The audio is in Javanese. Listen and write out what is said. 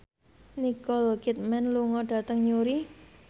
Nicole Kidman lunga dhateng Newry